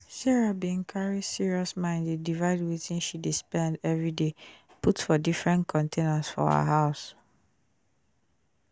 sarah bin carry serious mind dey divide wetin she dey spend every day put for diffren containers for her house